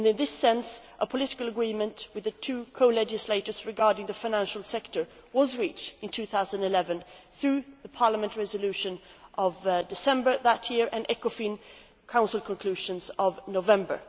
With that in mind, a political agreement with the two co legislators regarding the financial sector was reached in 2011, through the Parliament Resolution of December 2011 and the ECOFIN Council Conclusions of November